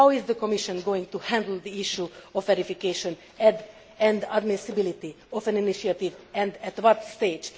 How is the Commission going to handle the issue of verification and admissibility of an initiative, and at what stage?